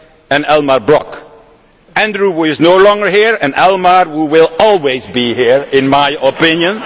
and Elmar Brok, Andrew who is no longer here and Elmar who will always be here in my opinion.